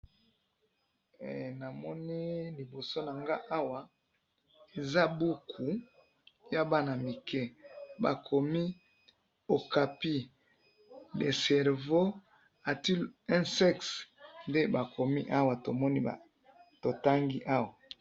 he namoni liboso na ngayi awa eza boukou ya bana mike bakomi "OKAPI le cerveau a - t- il un sexe?'' nde bakomi awa totangi awa.